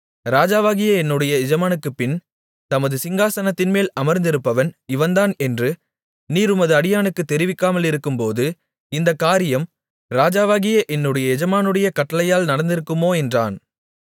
ராஜாவாகிய என்னுடைய எஜமானனுக்குப்பின் தமது சிங்காசனத்தில் அமர்ந்திருப்பவன் இவன்தான் என்று நீர் உமது அடியானுக்குத் தெரிவிக்காமலிருக்கும்போது இந்தக் காரியம் ராஜாவாகிய என்னுடைய எஜமானுடைய கட்டளையால் நடந்திருக்குமோ என்றான்